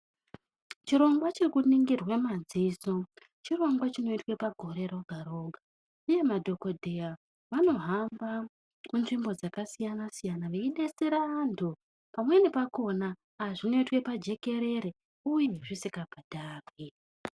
Chirongwa chekunongirwa madziso chirongwa chinoitwa pagore roga-roga, uye madhogodheya vanohamba munzvimbo dzakasiyana-siyana veibetsera vantu. Pamweni pakona zvinotwa pajekerere, uye zvisika bhadharwi.